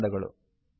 ಧನ್ಯವಾದಗಳು